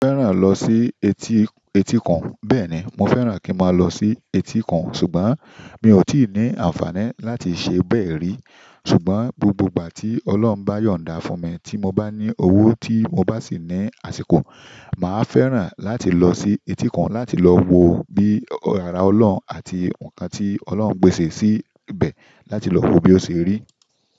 Mo fẹ́ràn lọ sí etí, etí kan. Bẹ́ẹ̀ni, mo fẹ́ràn kí ma lọ sí etí kan, ṣùgbọ́n mi ò tí ì ní àǹfààní láti ṣe bẹ́ẹ̀ rí. Ṣùgbọ́n gbogbo ìgbà tí Ọlọ́run bá yọ̀nda fún mi tí mo bá ní owó tí mo bá sì ní àsìkò, màá fẹ́ràn láti lọ sí etí kan láti lọ wo bí ìyàrá Ọlọ́run àti nǹkan tí Ọlọ́run pèsè sí ibẹ̀ láti lọ wo bí ó ṣe rí.